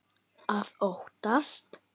Að óttast!